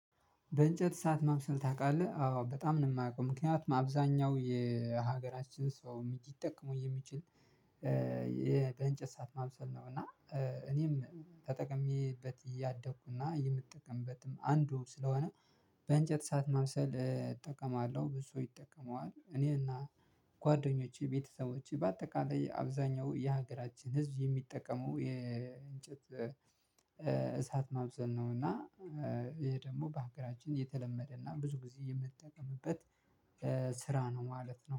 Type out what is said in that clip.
በእንጨት እሳት ማብሰል ታውቃለህ አዎ በጣም ነው የማውቀው ምክንያቱም አብዘሀኛው የሀገራችን ሰው ሊጠቀመው የሚችል የእንጨት እሳት ማብሰል ነው። እና እኔም ተጠቅሜበት ያደኩ የምጠቀምበትም አንዱ ስለሆነ። በእንጨት እሳት ማብሰል እጠቀማለሁ። ብዙ ሰው ይጠቀመዋል እኔና ጓደኞቼ ቤተሰቦቼ በአጠቃላይ አብዛኛው የሀገራችን ህዝብ የሚጠቀመው የእንጨት እሳት ማብሰል ነው። እና ይሄ ደግሞ በሀገራችን የተለመደና ብዙ ጊዜ የምትጠቀምበት ስራ ነው ማለት ነው